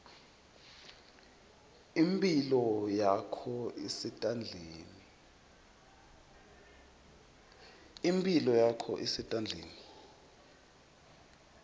imphilo yakho isetandleni